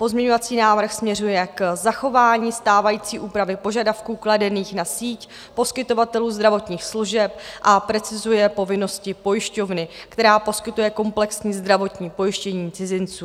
Pozměňovací návrh směřuje k zachování stávající úpravy požadavků kladených na síť poskytovatelů zdravotních služeb a precizuje povinnosti pojišťovny, která poskytuje komplexní zdravotní pojištění cizinců.